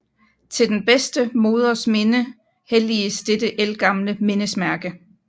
Til den bedste moders minde helliges dette ældgamle mindesmærke